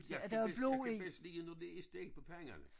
Jeg kan bedst jeg kan bedst lide det når det er stegt på panden